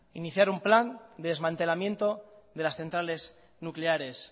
iniciar un plan de desmantelamiento de las centrales nucleares